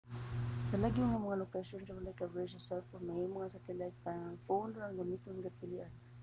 sa lagyo nga mga lokasyon kay walay coverage sa cell phone mahimong ang satellite phone ra ang imong kapilian